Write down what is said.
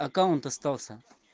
аккаунт остался